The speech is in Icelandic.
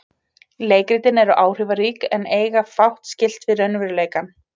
leikritin eru áhrifarík en eiga fátt skylt við raunveruleikann